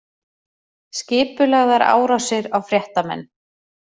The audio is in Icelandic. Skipulagðar árásir á fréttamenn